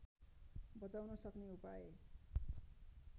बचाउन सक्ने उपाय